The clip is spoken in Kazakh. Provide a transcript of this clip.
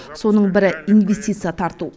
соның бірі инвестиция тарту